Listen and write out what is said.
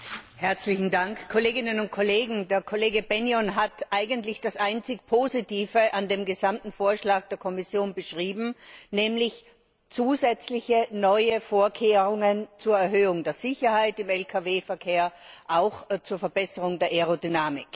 Herr Präsident, Kolleginnen und Kollegen! Der Kollege Bennion hat eigentlich das einzig Positive an dem gesamten Vorschlag der Kommission beschrieben, nämlich zusätzliche neue Vorkehrungen zur Erhöhung der Sicherheit im Lkw Verkehr, auch zur Verbesserung der Aerodynamik.